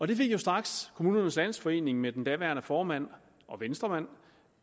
det fik jo straks kommunernes landsforening ved den daværende formand og venstremand